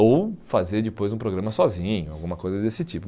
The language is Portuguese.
Ou fazer depois um programa sozinho, alguma coisa desse tipo.